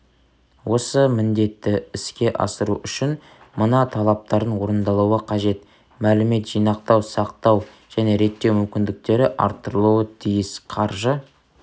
осы міндетті іске асыру үшін мына талаптардың орындалуы қажет мәлімет жинақтау сақтау және реттеу мүмкіндіктері арттырылуы тиіс қаржы